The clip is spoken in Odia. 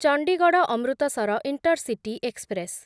Chandigarh Amritsar intercity express